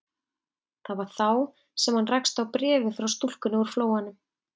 Það var þá sem hann rakst á bréfið frá stúlkunni úr Flóanum.